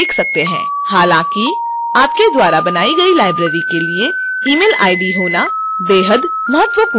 हालांकि आपके द्वारा बनाई गई library के लिए email id होना बेहद महत्वपूर्ण है